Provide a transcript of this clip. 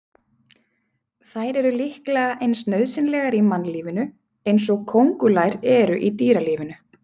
Þær eru líklega eins nauðsynlegar í mannlífinu eins og kóngulær eru í dýralífinu.